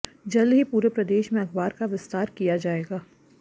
जल्द ही पूरे प्रदेश में अखबार का विस्तार किया जाएगा